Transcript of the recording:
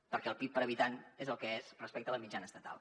perquè el pib per habitant és el que és respecte a la mitjana estatal